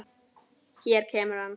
Hér kemur hann.